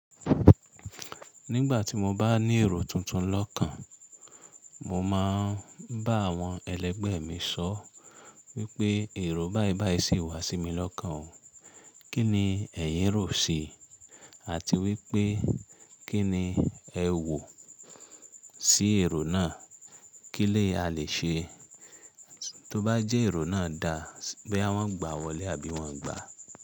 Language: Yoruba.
Nígbà tí mo bá ní èrò tuntun lọ́kàn, mo máa ń bá àwọn ẹlẹgbẹ́ mi sọ wípé èrò báìbái sì wá sí mi lọ́kàn o. Kí ni ẹyìn rò ó ṣi? Àti wípé kí ni ẹ wò sí èrò náà? Kí ni a lè ṣe? Tóbá jẹ́ èrò náà da, boya wọ́n gbà wọlé àbí wọ́n ò gbà.